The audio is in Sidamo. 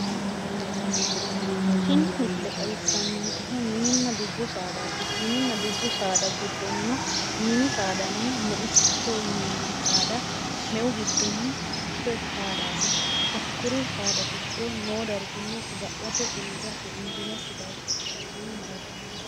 Tini misile xawissannonkehu mininna dubbu saadaati, mininna dubbu saada giddonnino mini saadanni meichoho yinanni saada meu giddonni mitte saadaati hakkuri saada giddo noo darginna saga'late uurrate injiinokki baayiicho hee'rasinni mararsinoe.